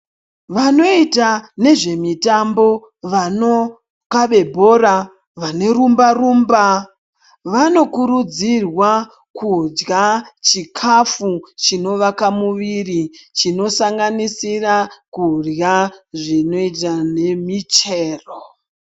Vanoita nezvemitambo vanokabe bhora vane rumba-rumba. Vanokurudzirwa kudya chikafu chinovaka muviri chinosanganisira kurya zvinoita nemichero.